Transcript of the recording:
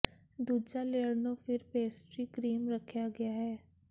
ਦੂਜਾ ਲੇਅਰ ਨੂੰ ਫਿਰ ਪੇਸਟਰੀ ਕਰੀਮ ਰੱਖਿਆ ਗਿਆ ਹੈ